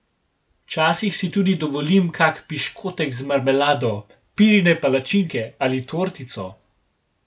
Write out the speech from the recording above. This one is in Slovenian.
Včasih si tudi dovolim kak piškotek z marmelado, pirine palačinke ali tortico.